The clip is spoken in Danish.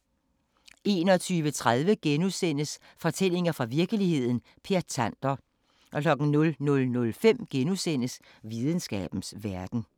21:30: Fortællinger fra virkeligheden – Per Tander * 00:05: Videnskabens Verden *